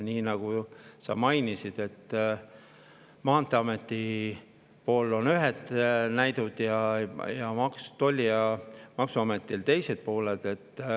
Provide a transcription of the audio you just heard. Nagu sa mainisid, ametil on ühed näidud ja Maksu- ja Tolliametil teised.